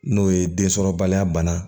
N'o ye densɔrɔbaliya bana